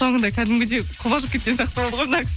соңында кәдімгідей қобалжып кеткен сияқты болды ғой мына